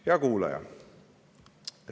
Hea kuulaja!